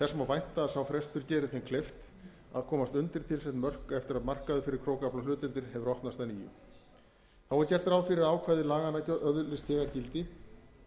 vænta má að sá frestur geri þeim kleift að komast undir tilsett mörk eftir að markaður fyrir krókaflahlutdeildir hefur opnast að nýju gert er ráð fyrir að ákvæði laganna öðlist þegar gildi